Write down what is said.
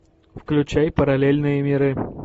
включай параллельные миры